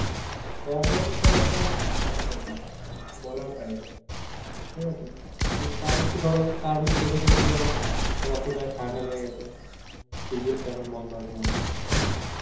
খবর তো একদম ফাটা ফাটি বলার বাইরে, ঠিক আছে, তো তাও একটু ধরো, তার মধ্যে থেকে একটু ধরো, রকি ভাই এর ঠান্ডা লেগে গেছে এখন বন্ধ আছে